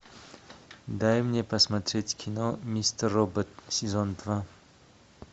дай мне посмотреть кино мистер робот сезон два